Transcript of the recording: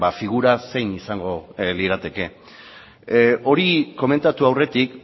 figura zein izango lirateke hori komentatu aurretik